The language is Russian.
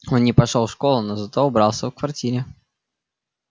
он не пошёл в школу но зато убрался в квартире